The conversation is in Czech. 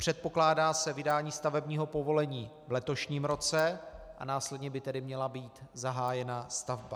Předpokládá se vydání stavebního povolení v letošním roce a následně by tedy měla být zahájena stavba.